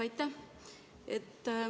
Aitäh!